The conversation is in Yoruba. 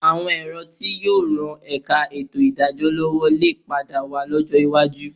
Àwọn ẹ̀rọ tí yóò ran ẹ̀ka ètò ìdájọ́ lọ́wọ́ lè padà wà lọ́jọ́ iwájú